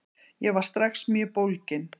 Ég var strax mjög bólginn.